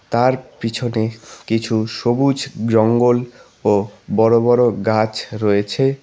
তার পিছনে কিছু সবুজ জঙ্গল ও বড় বড় গাছ রয়েছে।